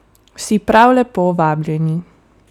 Vsi prav lepo vabljeni!